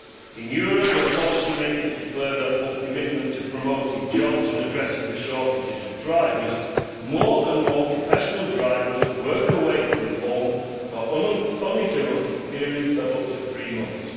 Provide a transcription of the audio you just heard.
In Europe, where policymakers declare their full commitment to promoting jobs and addressing the shortages of drivers, more and more professional drivers work away from home for uninterrupted periods of up to three months.